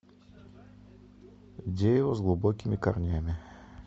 дерево с глубокими корнями